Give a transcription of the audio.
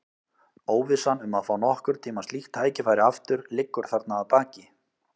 Óvissan um að fá nokkurn tíma slíkt tækifæri aftur liggur þarna að baki.